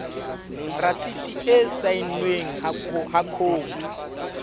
rasiti e saennweng ha khopi